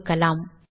தொகுக்கலாம்